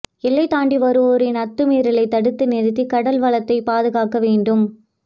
எல்லைதாண்டி வருவோரின் அத்துமீறலைத் தடுத்து நிறுத்தி கடல்வளத்தை பாதுகாக்க வேண்டும்